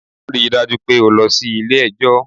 Ri dájú pé o lọ sí Ilé ẹjọ́